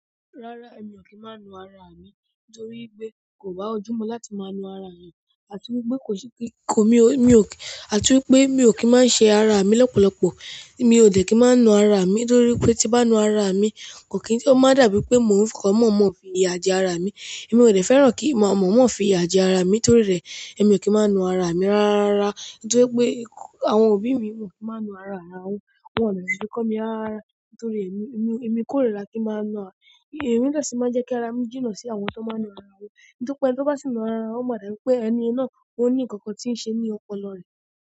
Rárá, èmi ò kí máa nu ara mi nítorí pé kò bá ojú mi láti máa nu ara mi àti wípé mi ò kí máa ń ṣe ara mi lọ́pọ̀lọpọ̀. Mi ò dẹ̀ kí máa nu ara mi nítorí pé tí bá nu ara mi, kò kí n tó máa dàbí pé mò ń fọkà mọ̀ọ́mọ̀ fi ya jẹ ara mi. Èmi ò dẹ̀ fẹ́ràn kí mọ̀ọ́mọ̀ fi ya jẹ ara mi nítorí rẹ̀, èmi ò kí máa nu ara mi rárára. Nítorí pé àwọn òbí mi wọ́n ò kí máa nu ara ara wọn, wọ́n kò rí bí kọ́ mi ara nítorí èmi kò ríra kí máa nu ara. Èmi lọ́ sì máa ń jẹ́ kí ara mi jìnà sí àwọn tó máa ń nu ara wọn. Nítorí pé tó bá sì nu ara wọn, ó máa dàbí pé ẹni náà ó ní nǹkan tí ń ṣe ní ọpọlọ rẹ̀.